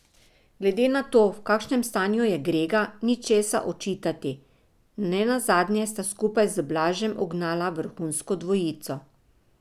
Glede na to, v kakšnem stanju je Grega, ni česa očitati, nenazadnje sta skupaj z Blažem ugnala vrhunsko dvojico.